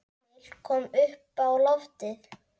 Emil kom uppá loftið.